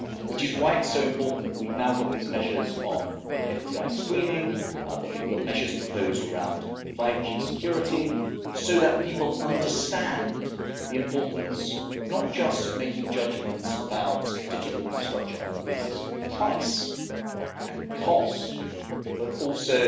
Which is why it's so important that we've now got these measures on foreign direct investment screening, that we've got measures proposed around 5G security, so that people understand the importance not just of making judgments about digital infrastructure on the basis of price and cost, but also